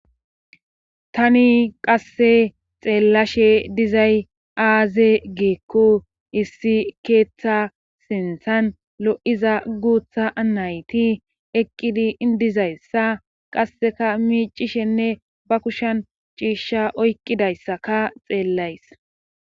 Tani qasse xeellashe dizay aaze geekko issi keeththa sinthan lo'iza guutha anayti eqqidi indizayssa qasseka miicishenne ba kushan ciishsha oyqidayssaka xeellays.